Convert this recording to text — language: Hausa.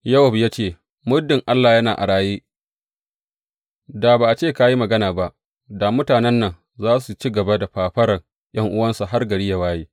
Yowab ya ce, Muddin Allah yana a raye, da ba a ce ka yi magana ba, da mutanen za su ci gaba da fafaran ’yan’uwansu har gari yă waye.